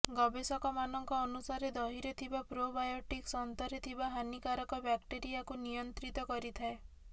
ଗବେଷକମାନଙ୍କ ଅନୁସାରେ ଦହିରେ ଥିବା ପ୍ରୋବାଇଓଟିକ୍ସ ଅନ୍ତରେ ଥିବା ହାନିକାରକ ବ୍ୟାକ୍ଟେରିଆକୁ ନିୟନ୍ତ୍ରିତ କରିଥାଏ